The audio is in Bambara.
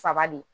Saba de